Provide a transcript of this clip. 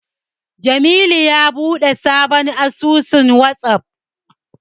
Jamilu ya buɗe sabon asusun Wazaf.